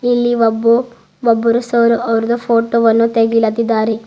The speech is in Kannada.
ಇಲ್ಲಿ ಒಬ್ಬ ಒಬ್ಬರು ಸರ್ ಅವ್ರ್ದ ಫೋಟೋ ವನ್ನು ತೆಗೀಲಾತಿದ್ದಾರೆ.